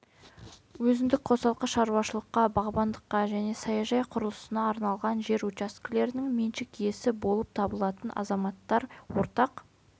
өзіндік қосалқы шаруашылыққа бағбандыққа және саяжай құрылысына арналған жер учаскелерінің меншік иесі болып табылатын азаматтар ортақ